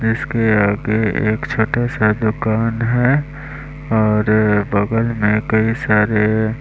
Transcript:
इसके आगे एक छोटा सा दुकान है और बगल में कई सारे --